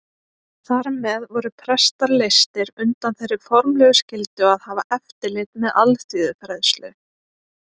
Þar með voru prestar leystir undan þeirri formlegu skyldu að hafa eftirlit með alþýðufræðslu.